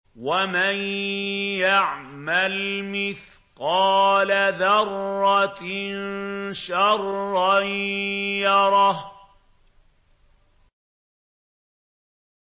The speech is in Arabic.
وَمَن يَعْمَلْ مِثْقَالَ ذَرَّةٍ شَرًّا يَرَهُ